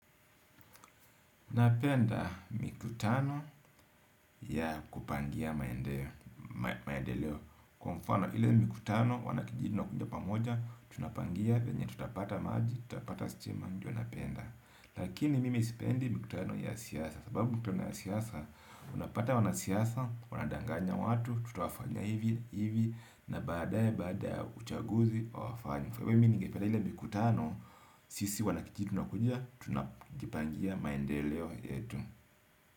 Napenda mikutano ya kupangia maendeleo. Kwa mfano ile mikutano wanakijiji wanakuja pamoja. Tunapangia venye tutapata maji, tutapata stima ndio napenda. Lakini mimi sipendi mikutano ya siasa. Sababu mikutano ya siasa, unapata wana siasa, wanadanganya watu. Tutawafanya hivi, hivi, na baada ya baada ya uchaguzi hawafanyi kwa hivo mimi nigependa ile mikutano, sisi wanakijiji tunakuja tunajipangia maendeleo yetu.